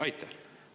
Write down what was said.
Aitäh!